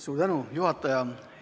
Suur tänu, juhataja!